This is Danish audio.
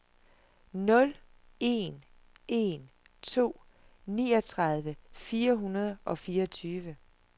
nul en en to niogtredive fire hundrede og fireogtyve